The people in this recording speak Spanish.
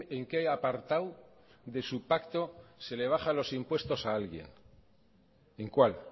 en qué apartado de su pacto se le baja los impuestos a alguien en cuál